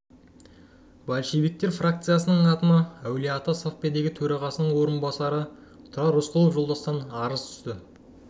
большевиктер фрақциясының атына әулие-ата совдепі төрағасының орынбасары тұрар рысқұлов жолдастан арыз түсті